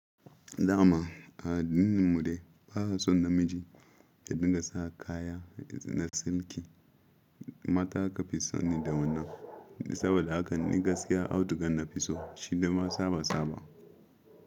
Dama a addinin mu dai ba'a son namiji ya dinga sa kaya na silki. Mata akafi sani da wannan saboda haka ni gaskiya audugan na fi so, shi ma na saba sawa.